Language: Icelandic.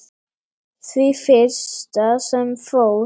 Því fyrsta sem fór.